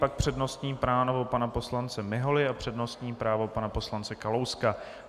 Pak přednostní právo pana poslance Miholy a přednostní právo pana poslance Kalouska.